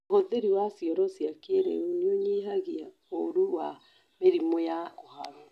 ũhũthĩri wa cioro cia kĩrĩu nĩunyihagia ũru wa mĩrimũ ya kũharwo